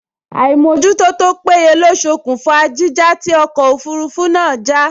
Àìmójútó tó péye ló ṣokùnfà jíjà tí ọkọ̀ òfurufú náà já